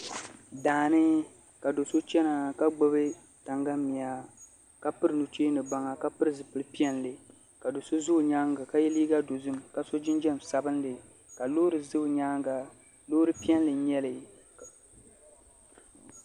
Daani ka do so chɛna ka gbubi tangali miya ka piri nuchɛ baŋa ka pili zipili piɛlli ka do so ʒɛ o nyaanga ka yɛ liiga dozim ka so jinjɛm sabinli ka Loori ʒɛ o nyaanga Loori piɛlli n nyɛli